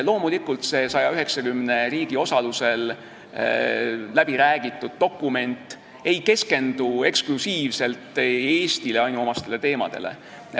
Loomulikult, see 190 riigi osalusel läbiräägitud dokument ei keskendu eksklusiivselt Eestile ainuomastele teemadele.